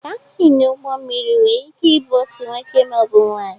Kaptịn ụgbọ mmiri nwere ike ịbụ nwoke maọbụ nwaanyị